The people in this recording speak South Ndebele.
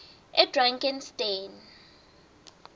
edrakansteni